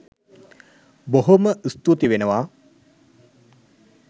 බොහෝම ස්තූති වෙනවා.